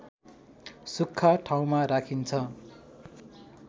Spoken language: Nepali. सुख्खा ठाउँमा राखिन्छ